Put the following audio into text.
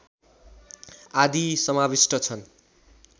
आदि समाविष्ट छन्